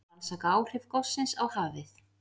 Rannsaka áhrif gossins á hafið